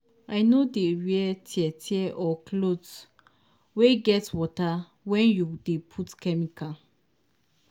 no dey wear tear- tear or cloth wey get water wen you dey put chemical.